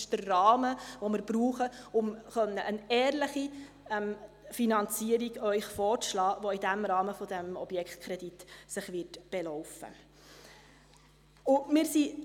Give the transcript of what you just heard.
Das ist der Rahmen, den wir brauchen, um Ihnen eine ehrliche Finanzierung vorzuschlagen, die sich im Rahmen dieses Objektkredits belaufen wird.